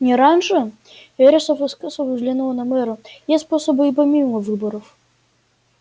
не раньше вересов искоса взглянул на мэра есть способы и помимо выборов